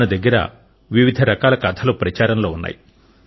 మన దగ్గర వివిధ రకాల కథలు ప్రచారం లో ఉన్నాయి